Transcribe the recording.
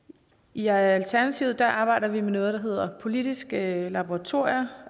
i alternativet arbejder vi med noget der hedder politiske laboratorier